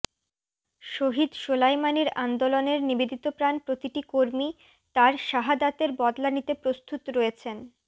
শহিদ সোলায়মানির আন্দোলনের নিবেদিতপ্রাণ প্রতিটি কর্মী তার শাহাদাতের বদলা নিতে প্রস্তুত রয়েছেন